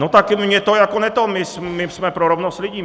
No tak mně to jako ne to... my jsme pro rovnost lidí.